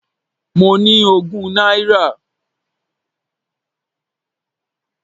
Mo ní ogún náírà.